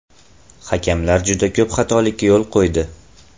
Hakamlar juda ko‘p xatolikka yo‘l qo‘ydi.